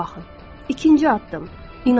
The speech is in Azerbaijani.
İkinci addım, inanın.